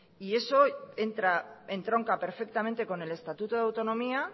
y eso entronca perfectamente con el estatuto de autonomía